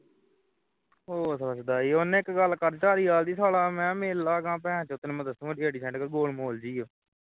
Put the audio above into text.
ਉਹ ਸਾਲਾ ਸ਼ੁਦਾਈ ਹੈ ਉਹਨੇ ਇਕ ਗੱਲ ਕਰ ਜਾਹ ਮੈਂ ਮਿਲ ਲਾਗਾਂ ਭੈਣ ਚੋ ਤੈਨੂੰ ਮੈਂ ਦਸਾਂ ਦਿਹਾੜੀ ਛੱਡ ਕੇ ਗੋਲਮੋਲ ਜਿਹੀ ਹੈ